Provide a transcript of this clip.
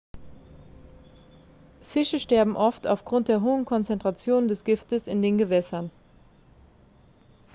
fische sterben oft aufgrund der hohen konzentrationen des giftes in den gewässern